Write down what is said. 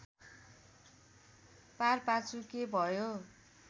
पारपाचुके भयो